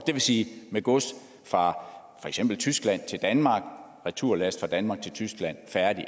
det vil sige med gods fra for eksempel tyskland til danmark og returlast fra danmark til tyskland færdig